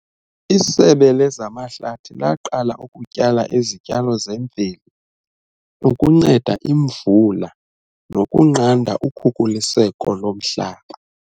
Isebe lezamahlathi laqala ukutyala izityalo zemveli ukunceda imvula nokunqanda ukhukuliseko lomhlaba.